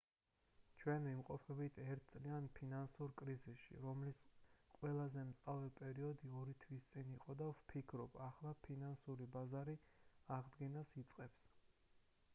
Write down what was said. ჩვენ ვიმყოფებით ერთ წლიან ფინანსურ კრიზისში რომლის ყველაზე მწვავე პერიოდი ორი თვის წინ იყო და ვფიქრობ ახლა ფინანსური ბაზარი აღდგენას იწყებს